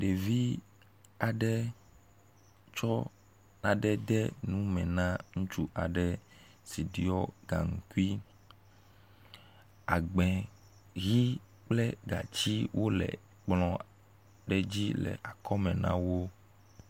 Ɖevi aɖe tsɔ naɖe de nume na ŋutsu aɖe si ɖiɔ gaŋkui, agbɛ ʋi kple gatsiwo le kplɔ̃ ɖe dzi le akɔme na wo.